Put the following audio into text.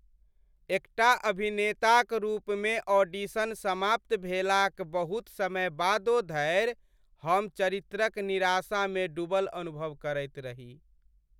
एकटा अभिनेताक रूपमे ऑडिशन समाप्त भेलाक बहुत समय बादो धरि हम चरित्रक निराशामे डूबल अनुभव करैत रही।